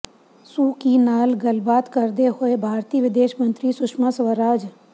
ਸੂ ਕੀ ਨਾਲ ਗੱਲਬਾਤ ਕਰਦੇ ਹੋਏ ਭਾਰਤੀ ਵਿਦੇਸ਼ ਮੰਤਰੀ ਸੁਸ਼ਮਾ ਸਵਰਾਜ